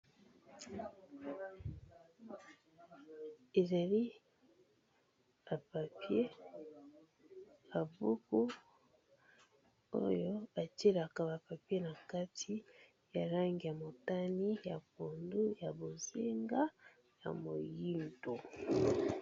Ezali ba papiers, ba buku oyo ba tielaka ba papiers na kati ya langi ya motani ya pondu ya bozenga ya moyindo.